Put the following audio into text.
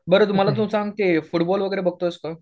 बरं मला ते सांग तू फुटबॉल वगैरे बघतोयस का?